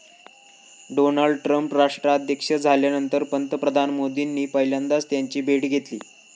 Donald Trump राष्ट्राध्यक्ष झाल्यानंतर पंतप्रधान मोदींनी पहिल्यांदाच त्यांची भेट घेतली.